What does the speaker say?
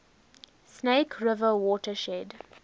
snake river watershed